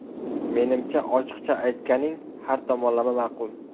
Menimcha, ochiqcha aytganing har tomonlama ma’qul’.